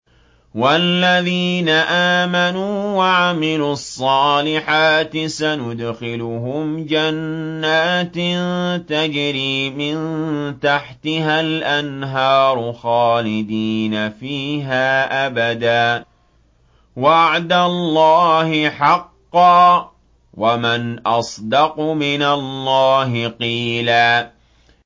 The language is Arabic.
وَالَّذِينَ آمَنُوا وَعَمِلُوا الصَّالِحَاتِ سَنُدْخِلُهُمْ جَنَّاتٍ تَجْرِي مِن تَحْتِهَا الْأَنْهَارُ خَالِدِينَ فِيهَا أَبَدًا ۖ وَعْدَ اللَّهِ حَقًّا ۚ وَمَنْ أَصْدَقُ مِنَ اللَّهِ قِيلًا